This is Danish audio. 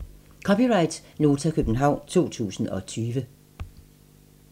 (c) Nota, København 2020